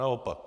Naopak.